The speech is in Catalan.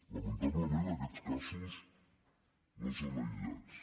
lamentablement aquests casos no són aïllats